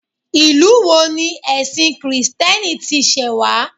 Ìlú wo ni ẹ̀sìn kìrìtẹ́nì tí ṣe wá